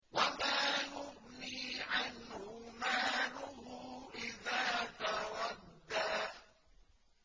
وَمَا يُغْنِي عَنْهُ مَالُهُ إِذَا تَرَدَّىٰ